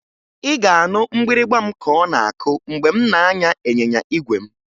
Ị ga-anụ mgbịrịmgba m ka ọ na-akụ mgbe m na-anya ịnyịnya igwe m